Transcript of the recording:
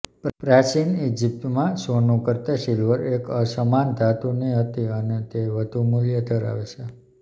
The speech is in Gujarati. પ્રાચીન ઇજિપ્તમાં સોનું કરતાં સિલ્વર એક અસમાન ધાતુની હતી અને તે વધુ મૂલ્ય ધરાવે છે